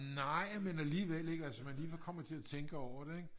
nej men alligevel ik altså man lige kommer til at tænke over det